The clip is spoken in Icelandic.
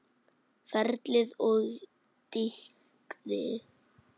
Ferlið og dygðin.